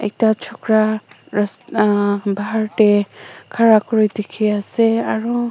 Ekta chukara ras hmm bahar tey khara kuri dekhi ase aro--